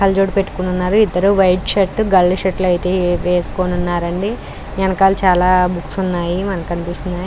కళ్ల జోడు పెట్టుకున్నారు ఇద్దరు వైట్ షర్ట్ గళ్ళు షర్ట్ వేసుకుని ఉన్నారు అండి ఎనకాల చాలా బుక్స్ ఉన్నాయి అవి కనిపిస్తున్నాయి --